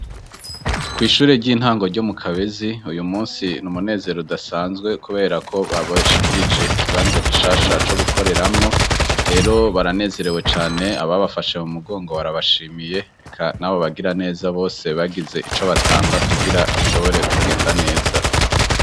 Kw' ishuri ry'intango ryo mu kabezi ,uyu munsi ni umunezero udasanzwe ,kubera ko babashikirije ikibanza gishasha co gukoreramwo rero baranezerewe cane ,aba bafashe mu mugongo barabashimiye reka nabo bagira neza bose bagize ico batanga kugira bishobore kugenda neza.